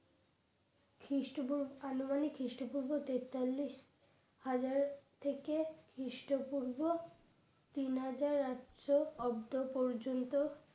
খ্রিস্টপূর্ব আনুমানিক খ্রিস্টপূর্ব তেতালিশ হাজার থেকে খৃষ্ট পূর্ব তিন হাজার আটশো অব্দ পর্যন্ত